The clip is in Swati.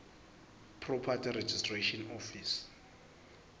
property registration office